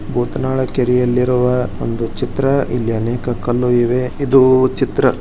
ಬೂತ್ನಾಳ ಕೆರೆಯಲ್ಲಿರುವ ಒಂದು ಚಿತ್ರ ಅನೇಕ ಕಲ್ಲುಗಳಿವೆ.